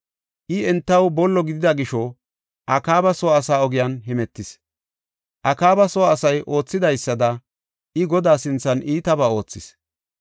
I entaw bollo gidida gisho, Akaaba soo asa ogiyan hemetis; Akaaba soo asay oothidaysada, I Godaa sinthan iitabaa oothis.